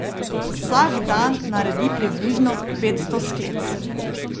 Vsak dan naredi približno petsto sklec.